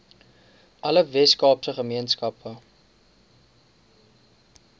alle weskaapse gemeenskappe